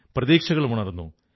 പ്രതീക്ഷകളും ഉണർന്നു